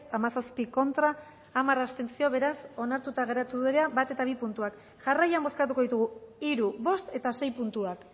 hamazazpi contra hamar abstentzio beraz onartuta geratu dira bat eta bi puntuak jarraian bozkatuko ditugu hiru bost eta sei puntuak